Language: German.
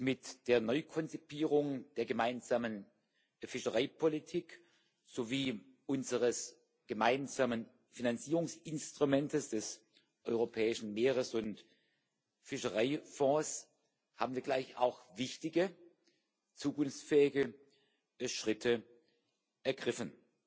Mit der Neukonzipierung der gemeinsamen Fischereipolitik sowie unseres gemeinsamen Finanzierungsinstruments, des Europäischen Meeres und Fischereifonds, haben wir gleich auch wichtige zukunftsfähige Schritte ergriffen.